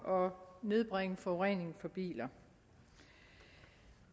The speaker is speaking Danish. og nedbringe forureningen fra biler